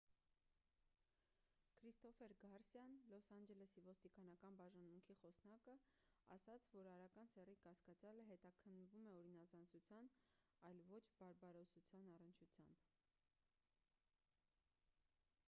քրիստոֆեր գարսիան լոս անջելեսի ոստիկանական բաժանմունքի խոսնակը ասաց որ արական սեռի կասկածյալը հետաքննվում է օրինազանցության այլ ոչ բարբարոսության առնչությամբ